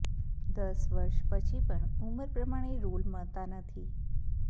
દસ વર્ષ પછી પણ ઉમર પ્રમાણે રોલ મળતાં નથી